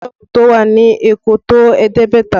Ṣé sọ́ọ̀bù tó wà ní Èkó tó ẹ̀ẹ́dẹ́gbẹ̀ta?